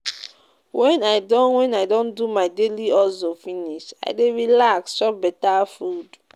Wen I don Wen I don do my daily hustle finish, I dey relax chop beta food.